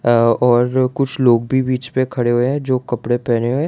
अह और कुछ लोग भी बीच पे खड़े हुए हैं जो कपड़े पहने हुए।